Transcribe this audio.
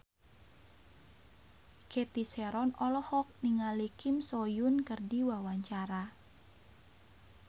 Cathy Sharon olohok ningali Kim So Hyun keur diwawancara